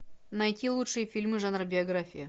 найти лучшие фильмы жанра биография